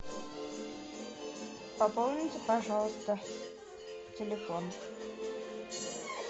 пополните пожалуйста телефон